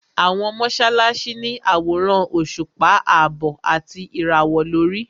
Àwọn mọ́sálásí ní àwòrán òṣùpá àbọ̀ àti ìràwọ̀ lórí.